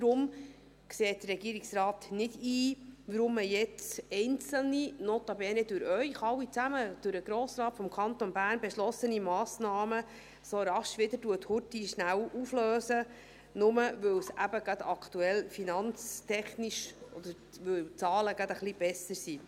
Deshalb sieht der Regierungsrat nicht ein, warum man jetzt einzelne, notabene durch Sie alle zusammen, durch den Grossen Rat des Kantons Bern, beschlossene Massnahmen so rasch wieder auflöst, nur, weil die Zahlen gerade wieder ein wenig besser sind.